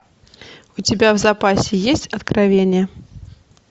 у тебя в запасе есть откровение